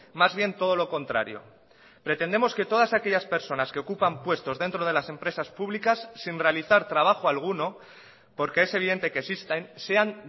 más bien todo lo contrario pretendemos que todas aquellas personas que ocupan puestos dentro de las empresas públicas sin realizar trabajo alguno porque es evidente que existen sean